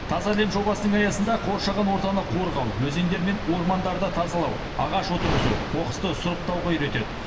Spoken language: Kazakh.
таза әлем жобасының аясында қоршаған ортаны қорғау өзендер мен ормандарды тазалау ағаш отырғызу қоқысты сұрыптауға үйретеді